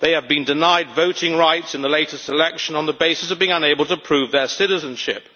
They have been denied voting rights in the latest election on the basis of being unable to prove their citizenship.